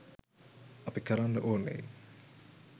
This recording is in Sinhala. අපි කරන්න ඕනේ